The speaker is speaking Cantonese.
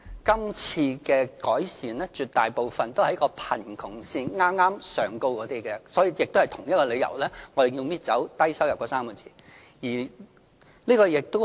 今次的改善措施，絕大部分是針對剛剛在貧窮線上的家庭，所以，我們也是基於同一個理由而刪去"低收入 "3 個字。